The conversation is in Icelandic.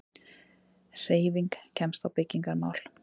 HREYFING KEMST Á BYGGINGARMÁL